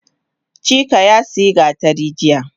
Chike yasiya gatari jiya